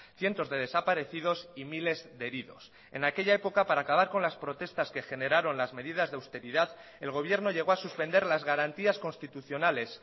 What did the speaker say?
cientos de desaparecidos y miles de heridos en aquella época para acabar con las protestas que generaron las medidas de austeridad el gobierno llegó a suspender las garantías constitucionales